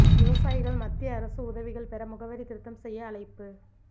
விவசாயிகள் மத்திய அரசு உதவிகள் பெற முகவரி திருத்தம் செய்ய அழைப்பு